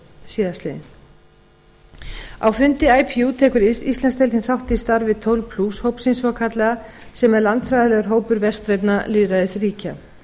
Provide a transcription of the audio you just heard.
síðastliðinn á fundi ipu tekur íslandsdeildin þátt í starfi tólf hópsins svokallaða sem er landfræðilegur hópur vestrænna lýðræðisríkja